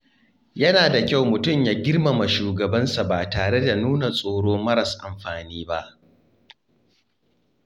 Yana da kyau mutum ya girmama shugabansa ba tare da nuna tsoro maras amfani ba.